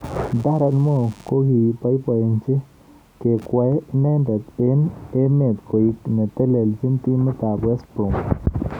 Darren Moore kokiboiboji kekwei inendet eng emetkoek netelejin timit ab West Brom.